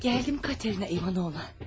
Gəldim Katerina İvanovna.